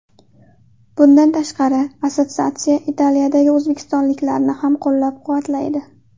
Bundan tashqari, assotsiatsiya Italiyadagi o‘zbekistonliklarni ham qo‘llab-quvvatlaydi.